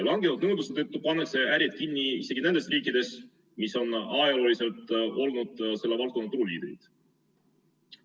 Vähenenud nõudluse tõttu pannakse ärid kinni isegi nendes riikides, mis on ajalooliselt olnud selle valdkonna turuliidrid.